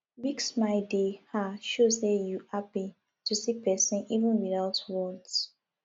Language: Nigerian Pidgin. big smile dey um show sey you hapi to see persin even witout words